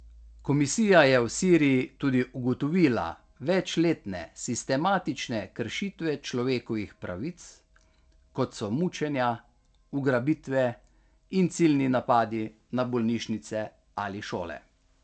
Komisija je v Siriji tudi ugotovila večletne sistematične kršitve človekovih pravic, kot so mučenja, ugrabitve in ciljni napadi na bolnišnice ali šole.